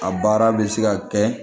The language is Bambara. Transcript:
A baara bɛ se ka kɛ